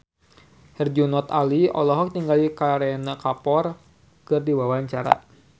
Herjunot Ali olohok ningali Kareena Kapoor keur diwawancara